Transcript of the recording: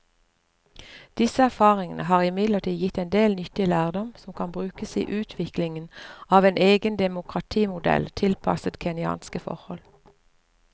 Disse erfaringene har imidlertid gitt en del nyttig lærdom som kan brukes i utviklingen av en egen demokratimodell tilpasset kenyanske forhold.